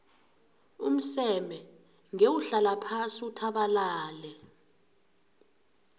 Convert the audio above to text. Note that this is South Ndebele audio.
umseme ngewuhlala phasi uthabalale